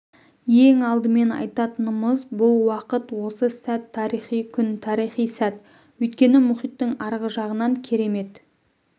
ең алдымен айтатынымыз бұл уақыт осы сәт тарихи күн тарихи сәт өйткені мұхиттың арғы жағынан керемет